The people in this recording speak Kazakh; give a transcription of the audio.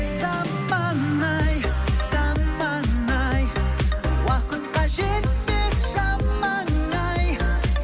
заман ай заман ай уақытқа жетпес шамаң ай